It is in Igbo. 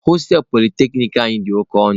Hostelụ polyteknic anyị dị oke ọnụ.